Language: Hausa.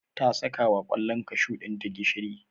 ta saka wa kwallon kashu ɗinta gishiri.